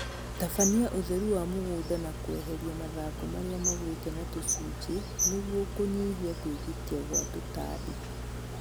Tabania ũtheru wa mũgũnda na kweheria mathangũ marĩa magwĩte na icunjĩ nĩguo kũnyihia kwĩgitia kwa tũtambi